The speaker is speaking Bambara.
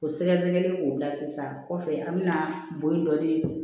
O sɛgɛsɛgɛli k'o bila sisan kɔfɛ an bɛna bɔ yen dɔ de